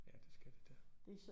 Ja det skal det da